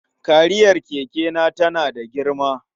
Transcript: Kariyar kekena tana da girma.